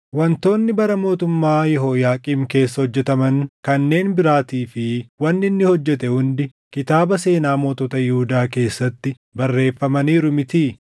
Wantoonni bara mootummaa Yehooyaaqiim keessa hojjetaman kanneen biraatii fi wanni inni hojjete hundi kitaaba seenaa mootota Yihuudaa keessatti barreeffamaniiru mitii?